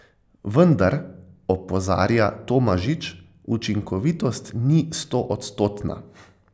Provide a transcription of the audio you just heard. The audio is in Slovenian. Vendar, opozarja Tomažič, učinkovitost ni stoodstotna.